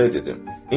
Ona belə dedim.